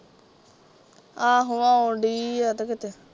ਆਹੋ ਆਉਣ ਡਈ ਐ ਤੇ ਕਿਤੇ